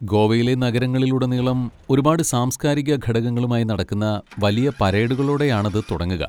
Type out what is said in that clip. ഗോവയിലെ നഗരങ്ങളിൽ ഉടനീളം ഒരുപാട് സാംസ്കാരിക ഘടകങ്ങളുമായി നടക്കുന്ന വലിയ പരേഡുകളോടെയാണത് തുടങ്ങുക.